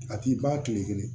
A t'i ban kile kelen